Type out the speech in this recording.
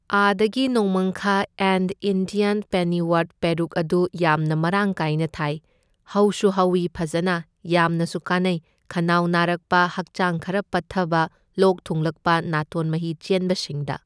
ꯑꯥꯗꯒꯤ ꯅꯣꯡꯃꯥꯡꯈꯥ an Indian pennywort ꯄꯦꯔꯨꯛ ꯑꯗꯨ ꯌꯥꯝꯅ ꯃꯔꯥꯡ ꯀꯥꯏꯅ ꯊꯥꯏ, ꯍꯧꯁꯨ ꯍꯧꯢ ꯐꯖꯅ, ꯌꯥꯝꯅꯁꯨ ꯀꯥꯟꯅꯩ ꯈꯅꯥꯎ ꯅꯥꯔꯛꯄ ꯍꯛꯆꯥꯡ ꯈꯔ ꯄꯠꯊꯕ ꯂꯣꯛ ꯊꯨꯡꯂꯛꯄ ꯅꯥꯇꯣꯟ ꯃꯍꯤ ꯆꯦꯟꯕ ꯁꯤꯡꯗ꯫